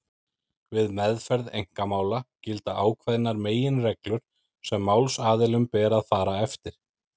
Við meðferð einkamála gilda ákveðnar meginreglur sem málsaðilum ber að fara eftir.